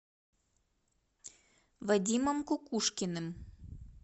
вадимом кукушкиным